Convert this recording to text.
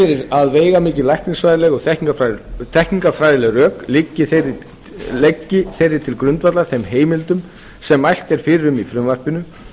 að veigamikil læknisfræðileg og þekkingarfræðileg rök liggi til grundvallar þeim heimildum sem mælt er fyrir um í frumvarpinu